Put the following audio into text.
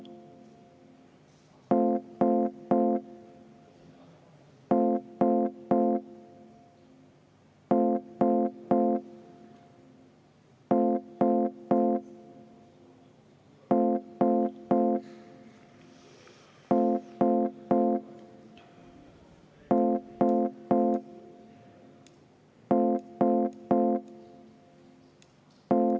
10 minutit vaheaega EKRE fraktsiooni palvel.